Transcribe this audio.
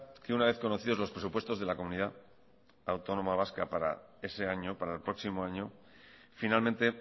que una vez conocidos los presupuestos de la comunidad autónoma vasca para ese año para el próximo año finalmente